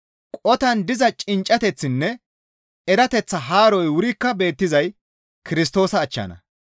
Qotan diza cinccateththinne erateththa haaroy wurikka beettizay Kirstoosa achchanna.